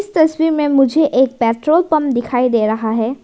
तस्वीर में मुझे एक पेट्रोल पंप दिखाई दे रहा है।